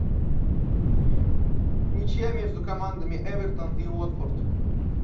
ничья между командами эвертон и уотфорд